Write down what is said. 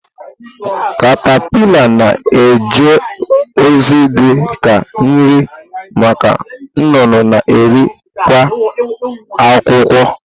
katapila na-eje ozi dị ka nri maka nnụnụ na eri kwa akwukwo.